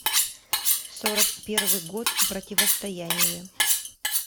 сорок первый год противостояние